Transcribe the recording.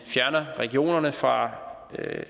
fjerner regionerne fra